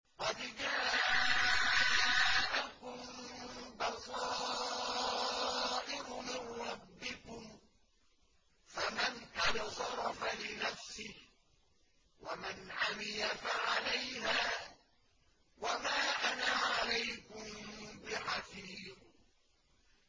قَدْ جَاءَكُم بَصَائِرُ مِن رَّبِّكُمْ ۖ فَمَنْ أَبْصَرَ فَلِنَفْسِهِ ۖ وَمَنْ عَمِيَ فَعَلَيْهَا ۚ وَمَا أَنَا عَلَيْكُم بِحَفِيظٍ